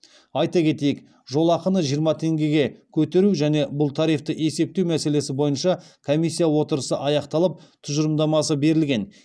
айта кетейік жолақыны жиырма теңгеге көтеру және бұл тарифті есептеу мәселесі бойынша комиссия отырысы аяқталып тұжырымдамасы берілген